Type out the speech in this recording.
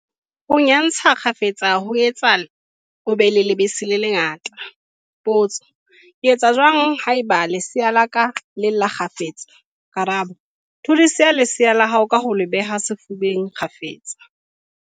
Ho nyantsha kgafetsa ho etsa o be le lebese le le ngata. Potso- Ke etsa jwang haeba lesea la ka le lla kgafetsa? Karabo- Thudisa lesea la hao ka ho le beha sefubeng kgafetsa.